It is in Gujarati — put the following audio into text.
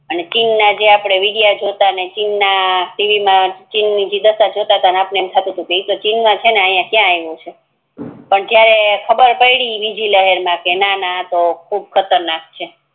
અને ચીન ના આપડે વિડેય જોતાં ને ચીન મા ટીવી મા ચીન જે દશા જોતતા તો આપડને એમ થતુતુ કે ઈતો ચીન મા છે આય કયા આયવો છે પણ જ્યારે ખબર પડી બીજી લહેર મા તો ખબર પડી કે નાના આતો ખૂબ ખતર નાક છે